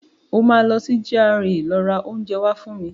O máa lọ sí GRA lọ rà oúnjẹ wá fún mi.